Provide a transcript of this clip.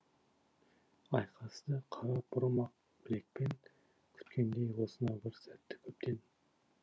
айқасты қара бұрым ақ білекпен күткендей осынау бір сәтті көптен